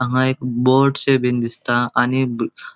हांगा एक बोटशे बिन दिसता आणि बु --